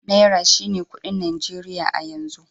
Naira shine kuɗin Najeriya a yanzu.